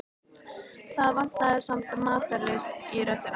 Það vantaði samt matarlyst í röddina.